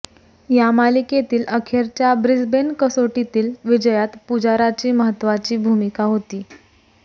या मालिकेतील अखेरच्या ब्रिस्बेन कसोटीतील विजयात पुजाराची महत्त्वाची भूमिका होती